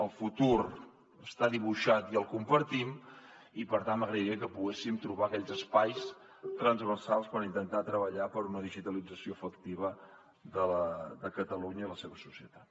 el futur està dibuixat i el compartim i per tant m’agradaria que poguéssim trobar aquells espais transversals per intentar treballar per una digitalització efectiva de catalunya i la seva societat